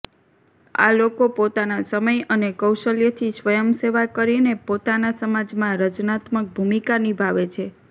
આ લોકો પોતાના સમય અને કૌશલ્યથી સ્વયંસેવા કરીને પોતાના સમાજમાં રચનાત્મક ભૂમિકા નિભાવે છે